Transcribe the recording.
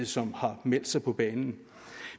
som har meldt sig på banen